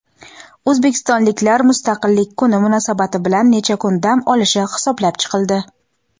O‘zbekistonliklar Mustaqillik kuni munosabati bilan necha kun dam olishi hisoblab chiqildi.